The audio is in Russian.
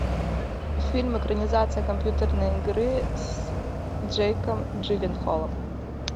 фильм экранизация компьютерной игры с джейком джилленхолом